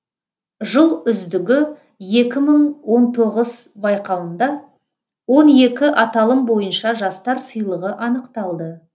жыл үздігі екі мың он тоғыз байқауында он екі аталым бойынша жастар сыйлығы анықталды